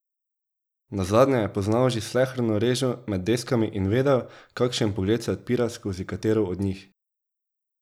Nazadnje je poznal že sleherno režo med deskami in vedel, kašen pogled se odpira skozi katero od njih.